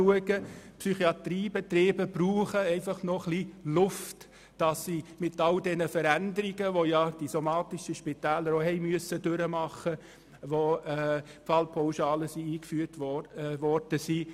Die Psychiatriebetriebe brauchen einfach noch ein bisschen Luft, damit sie mit all den Veränderungen klarkommen, die die somatischen Spitäler ebenfalls durchmachen mussten, als die Fallpauschalen eingeführt worden sind.